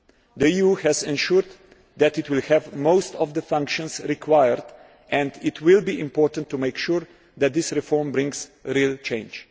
The EU has ensured that it will have most of the functions required and it will be important to make sure that this reform brings real change.